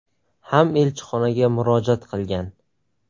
ham elchixonaga murojaat qilgan.